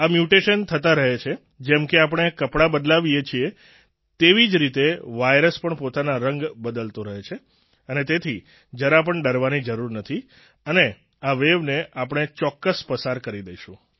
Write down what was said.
આ મ્યૂટેશન થતા રહે છે જેમ કે આપણે કપડાં બદલાવીએ છીએ તેવી જ રીતે વાયરસ પણ પોતાના રંગ બદલતો રહે છે અને તેથી જરા પણ ડરવાની જરૂર નથી અને આ વેવ ને આપણે ચોક્કસ પસાર કરી દેશું